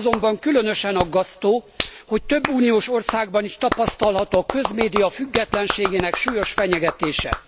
Az azonban különösen aggasztó, hogy több uniós országban is tapasztalható a közmédia függetlenségének súlyos fenyegetése.